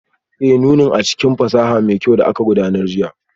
Ee, nunin a cikin sashin fasaha mai kyau da aka gudanar jiya